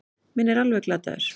Minn er alveg glataður.